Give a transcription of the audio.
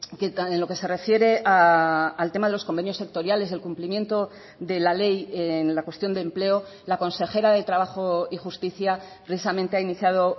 que en lo que se refiere al tema de los convenios sectoriales del cumplimiento de la ley en la cuestión de empleo la consejera de trabajo y justicia precisamente ha iniciado